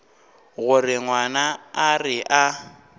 gore ngwana a re a